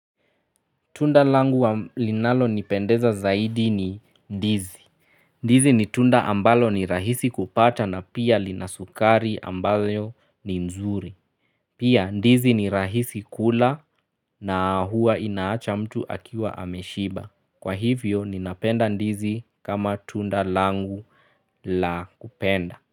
Tunda langu wa linalonipendeza zaidi ni ndizi. Ndizi ni tunda ambalo ni rahisi kupata na pia lina sukari ambayo ni nzuri. Pia ndizi ni rahisi kula na huwa inaacha mtu akiwa ameshiba. Kwa hivyo ninapenda ndizi kama tunda langu la kupenda.